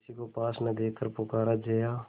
किसी को पास न देखकर पुकारा जया